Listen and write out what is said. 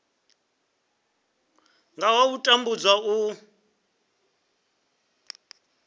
nga ha u tambudzwa u